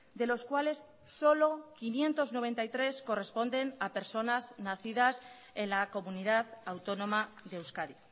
de los cuales solo quinientos noventa y tres corresponden a personas nacidas en la comunidad autónoma de euskadi